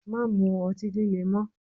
Má mu ọtí líle mọ.